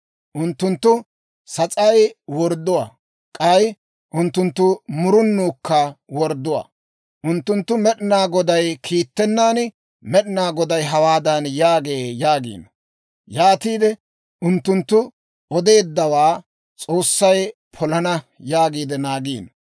Unttunttu sas'ay wordduwaa, k'ay unttunttu murunuukka wordduwaa. Unttunttu Med'inaa Goday kiittennan, Med'inaa Goday hawaadan yaagee yaagiino. Yaatiide unttunttu odeeddawaa S'oossay polana yaagiide naagiino.